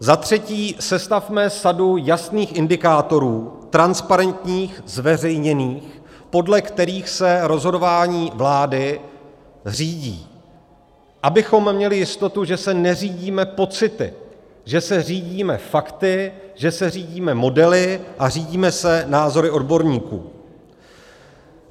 Za třetí, sestavme sadu jasných indikátorů, transparentních, zveřejněných, podle kterých se rozhodování vlády řídí, abychom měli jistotu, že se neřídíme pocity, že se řídíme fakty, že se řídíme modely a řídíme se názory odborníků.